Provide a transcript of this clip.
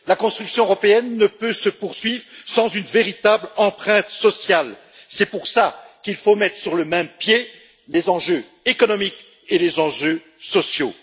La construction européenne ne peut se poursuivre sans une véritable empreinte sociale. C'est pour cela qu'il faut mettre sur le même pied les enjeux économiques et les enjeux sociaux.